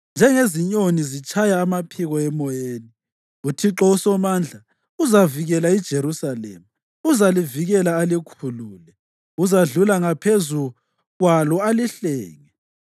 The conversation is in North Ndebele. Njengezinyoni zitshaya amaphiko emoyeni, uThixo uSomandla uzavikela iJerusalema, uzalivikela alikhulule, uzadlula ‘ngaphezu’ kwalo alihlenge.”